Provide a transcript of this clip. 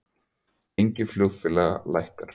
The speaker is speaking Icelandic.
Gengi flugfélaga lækkar